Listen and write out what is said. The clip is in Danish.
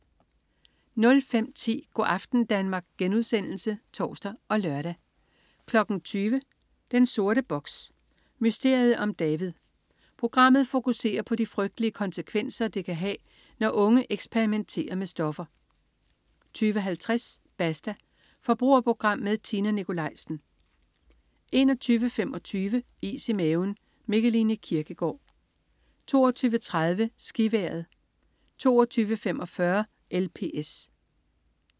05.10 Go' aften Danmark* (tors og lør) 20.00 Den sorte box: Mysteriet om David. Programmet fokuserer på de frygtelige konsekvenser, det kan have, når unge eksperimenter med stoffer 20.50 Basta. Forbrugerprogram med Tina Nikolaisen 21.25 Is i maven. Mikkeline Kierkgaard 22.30 SkiVejret 22.45 LPS